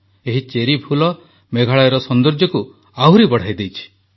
ଏହି ଚେରି ଫୁଲ ମେଘାଳୟର ସୌନ୍ଦର୍ଯ୍ୟକୁ ଆହୁରି ବଢ଼ାଇ ଦେଇଛି